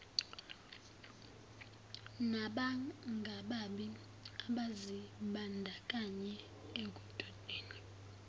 nabangababi abazibandakanye ekudobeni